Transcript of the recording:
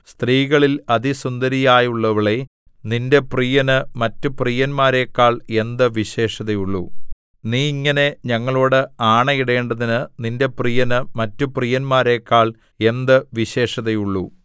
സ്ത്രീകളിൽ അതിസുന്ദരിയായുള്ളവളേ നിന്റെ പ്രിയന് മറ്റ് പ്രിയന്മാരെക്കാൾ എന്ത് വിശേഷതയുള്ളു നീ ഇങ്ങനെ ഞങ്ങളോട് ആണയിടേണ്ടതിന് നിന്റെ പ്രിയന് മറ്റു പ്രിയന്മാരെക്കാൾ എന്ത് വിശേഷതയുള്ളു